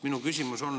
Mul on küsimus.